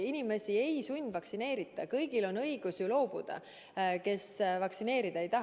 Inimesi ei sundvaktsineerita, kõigil on õigus loobuda, kes end vaktsineerida ei taha.